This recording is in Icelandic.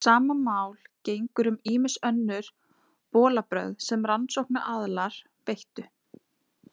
Sama máli gegnir um ýmis önnur bolabrögð sem rannsóknaraðilar beittu.